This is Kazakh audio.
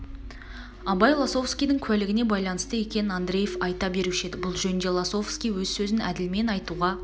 абай лосовскийдің куәлігіне байланысты екенін андреев айта беруші еді бұл жөнінде лосовский өз сөзін әділмен айтуға